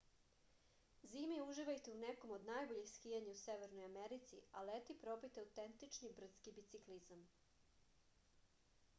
zimi uživajte u nekom od najboljih skijanja u severnoj americi a leti probajte autentični brdski biciklizam